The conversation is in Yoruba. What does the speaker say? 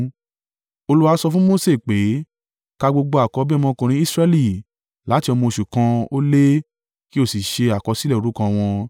Olúwa sọ fún Mose pé, “Ka gbogbo àkọ́bí ọmọkùnrin Israẹli láti ọmọ oṣù kan ó lé kí o sì ṣe àkọsílẹ̀ orúkọ wọn.